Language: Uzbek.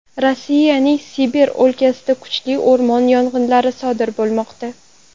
Rossiyaning Sibir o‘lkasida kuchli o‘rmon yong‘inlari sodir bo‘lmoqda.